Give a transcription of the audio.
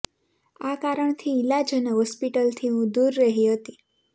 આ કારણથી ઈલાજ અને હોસ્પિટલથી હું દૂર રહી હતી